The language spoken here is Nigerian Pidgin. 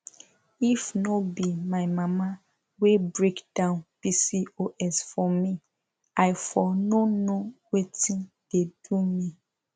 if no be my mama wey break down pcos for me i for no know wetin dey do me